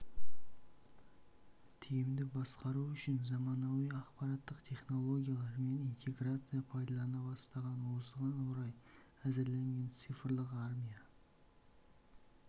тиімді басқару үшін заманауи ақпараттық технологиялар мен интеграция пайдаланыла бастаған осыған орай әзірленген цифрлық армия